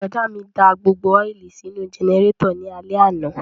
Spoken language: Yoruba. Bùrọ̀dá mi da gbogbo ọ́ìlì sínú jẹnẹrétọ̀ ní alẹ́ àná